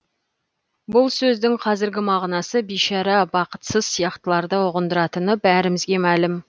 бұл сөздің қазіргі мағынасы бишара бақытсыз сияқтыларды ұғындыратыны бәрімізге мәлім